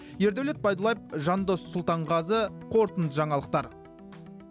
ердәулет байдуллаев жандос сұлтанғазы қорытынды жаңалықтар